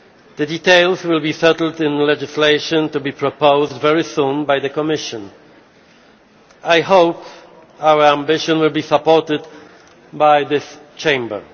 The details will be settled in legislation to be proposed very soon by the Commission. I hope our ambition will be supported by this Chamber.